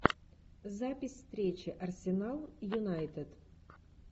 запись встречи арсенал юнайтед